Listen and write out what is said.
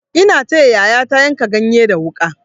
Ina taya yayata yanka ganye da wuƙa.